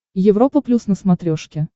европа плюс на смотрешке